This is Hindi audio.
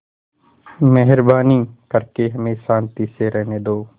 मेहरबानी करके हमें शान्ति से रहने दो